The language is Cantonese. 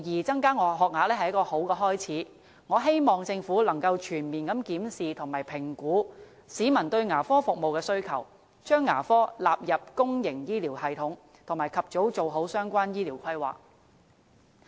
增加學額無疑是一個好開始，我希望政府能夠全面檢視和評估市民對牙科服務的需求，將牙科納入公營醫療系統，並及早完善相關的醫療規劃。